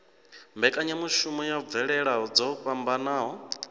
mbekanyamushumo ya mvelele dzo fhambanaho